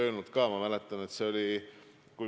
Nii et seda forsseeringut toetan igal juhul.